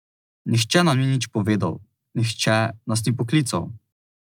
Nihče nam ni nič povedal, nihče nas ni poklical.